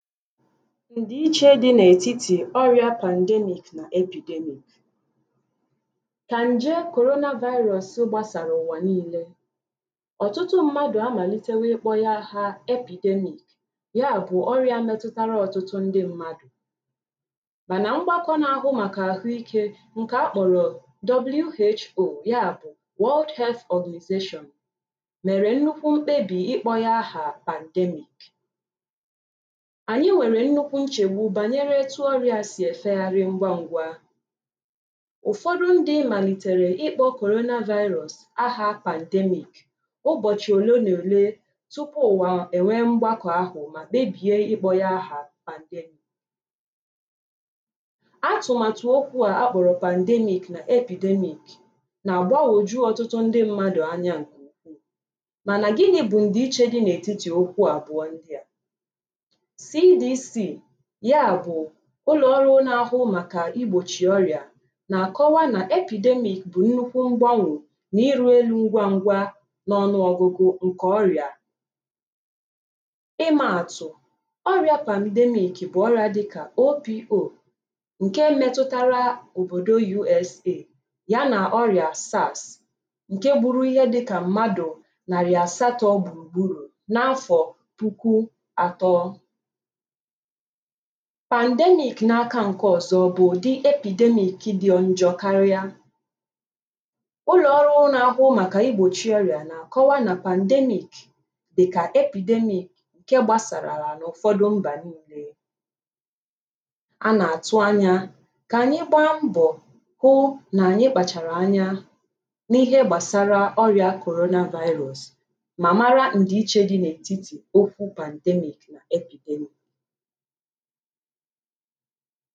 Ndiiche dị n’etiti ọrịa pandemic na epidemic ka nje korona vaịrọs gbasara ụwa niile ọtụtụ mmadụ amalitewo ịkpọ ya aha epidemic ya bụ ọrịa metụtara ọtụtụ ndị mmadụ mana mgbakọ na-ahụ maka ahụike nke a kpọrọ WHO ya bụ world Health organization mere nnukwu mkpebi ịkpọ ya ahà pandemic anyị nwere nnukwu nchegbu banyere etu ọrịa a si efegharị ngwa ngwa ụfọdụ ndị malitere ịkpọ korona vaịrọs ahà pandemic ụbọchị ole na ole tupu ụwa enwee mgbakọ ahụ ma kpebie ịkpọ ya ahà pandemic atụmatụ okwu a akpọrọ pandemic na epidemic na-agbagwoju ọtụtụ ndị mmadụ anya nke ukwuu mana gịnị bụ ndịiche dị n’etiti okwu abụọ ndị a CBC ya bụ̀ ụlọ̀ọrụ̇ na-ahụ màkà igbòchì ọrị̀à na-akọwà na epidemic bụ̀ nnukwu mgbanwe na iri elu ngwa ngwà n’ọnụ ọgụgụ ǹkè ọrị̀à ịmȧ àtụ̀ ọrị̇ȧ pandemic bụ̀ ọrị̀à dịkà OPO ǹke metụtara òbòdò USA ya na ọrị̀à SARS ǹke gburu ihe dịkà mmadụ̀ narị asatọ gbùrù gburu n’afọ̀ puku àtọ pandemic n’aka nke ọzọ bụ udị epidemic dị njọ karịa ụlọọrụ na-ahụ maka igbochi ọrịa na-akọwa na pandemic dị ka epidemic nke gbasarala na ụfọdụ mba niile a na-atụ anya ka anyị gbaa mbọ hụ na anyị kpachara anya n’ihe gbasara ọrịa korona vaịrọs ma mara ndị iche dị n’etiti okwu pandemic na epidemic